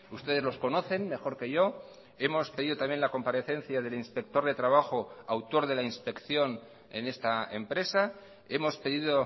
ustedes los conocen mejor que yo hemos pedido también la comparecencia del inspector de trabajo autor de la inspección en esta empresa hemos pedido